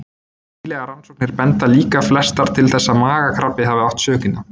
Nýlegar rannsóknir benda líka flestar til þess að magakrabbi hafi átt sökina.